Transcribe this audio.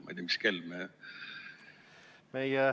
Ma ei tea, mis kell me ...